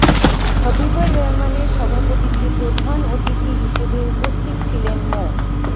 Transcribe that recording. হবিবর রহমানের সভাপতিত্বে প্রধান অতিথি হিসেবে উপস্থিত ছিলেন মো